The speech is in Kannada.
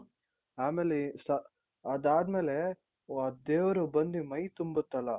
ಆಮೇಲೆ ಅದಾದ್ಮೇಲೆ ಆ ದೇವ್ರು ಬಂದಿ ಮೈ ತುಂಬುತ್ತಲ.